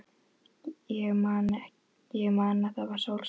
Ég man að það var sólskin.